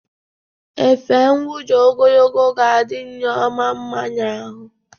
Efe nwuda ogologo ga-adị Nneoma nma n'ahụ.